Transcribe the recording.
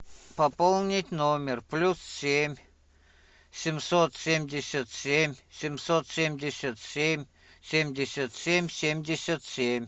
пополнить номер плюс семь семьсот семьдесят семь семьсот семьдесят семь семьдесят семь семьдесят семь